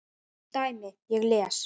dæmi: Ég les.